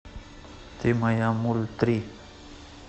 ты моя мультри